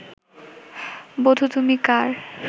বধূ তুমি কার'